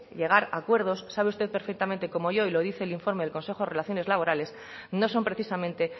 llegar acuerdos sabe usted perfectamente como yo y lo dice el informe del consejo de relaciones laborales no son precisamente